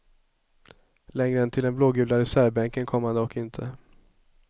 Längre än till den blågula reservbänken kom han dock inte.